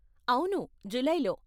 అవును, జులై లో.